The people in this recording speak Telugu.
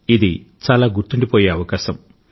ఇది చాలా గుర్తుండిపోయే అవకాశం